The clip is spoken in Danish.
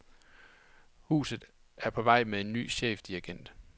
Huset er på vej med en ny chefdirigent.